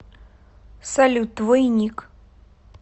салют твой ник